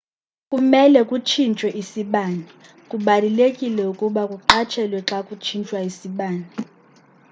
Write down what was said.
kumele kutshinthwe isibane kubalulekile ukuba kuqatshelwe xa kutshintshwa isibane